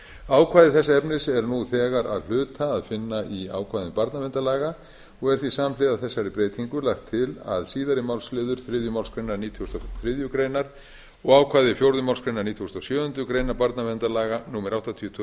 ákvæði þessa efnis er nú þegar að hluta að finna í ákvæðum barnaverndarlaga og er því samhliða þessari breytingu lagt til að síðari málsl þriðju málsgrein nítugasta og þriðju greinar og ákvæði fjórðu málsgrein nítugasta og sjöundu grein barnaverndarlaga númer áttatíu tvö